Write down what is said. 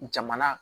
Jamana